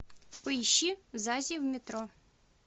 поищи зази в метро